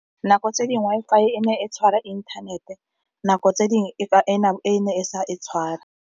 Nako tse dingwe fa e ne e tshwara inthanete, nako tse dingwe e ne e sa e tshware.